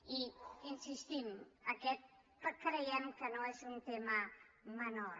i hi insistim aquest creiem que no és un tema menor